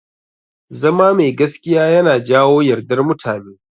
Zama mai gaskiya yana jawo yardar mutane.